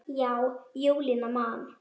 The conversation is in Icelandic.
Já, Júlía man.